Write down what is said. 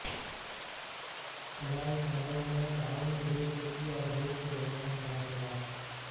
خلائی شعبوں میں تعاون کے لئے ترکی اور روس کے درمیان مذاکرات